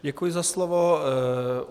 Děkuji za slovo.